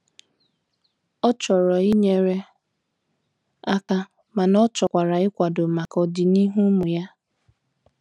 Ọ chọrọ inyere aka mana ọchọkwara ịkwado maka ọdị n'ihu ụmụ ya.